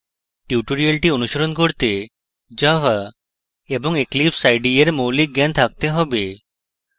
tutorial অনুসরণ করতে java এবং eclipse ide এর মৌলিক জ্ঞান থাকতে have